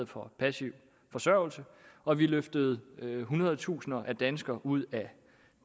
på passiv forsørgelse og vi løftede hundrede tusinder af danskere ud af